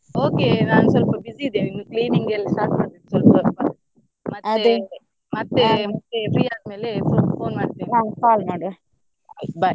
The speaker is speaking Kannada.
Okay ನಾನ್ ಸ್ವಲ್ಪ busy ಇದ್ದೇನೆ cleaning ಗೆಲ್ಲ start ಮಾಡಬೇಕು ಸ್ವಲ್ಪ ಸ್ವಲ್ಪ ಮತ್ತೆ ಮತ್ತೆ free ಆದ್ಮೇಲೆ phone ಮಾಡ್ತೇನೆ bye .